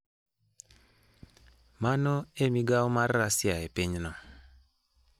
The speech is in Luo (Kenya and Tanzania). Mano en migawo mar Russia e pinyno.